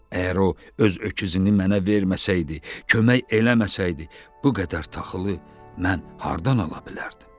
Əgər o öz öküzünü mənə verməsəydi, kömək eləməsəydi, bu qədər taxılı mən hardan ala bilərdim?